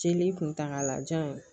Jeli kuntakalajan